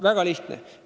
Väga lihtsalt.